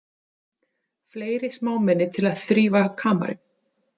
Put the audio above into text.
Fleiri smámenni til að þrífa kamarinn.